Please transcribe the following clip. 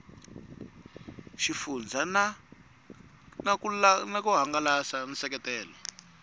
xifundzha na ku hangalasa nseketelo